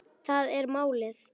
Það er málið.